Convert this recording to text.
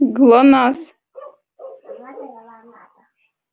гланас